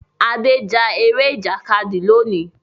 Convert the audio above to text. Ade já Eré Ìjàkadì lóni.